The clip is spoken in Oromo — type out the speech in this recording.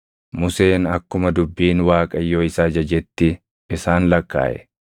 Museen akkuma dubbiin Waaqayyoo isa ajajetti isaan lakkaaʼe.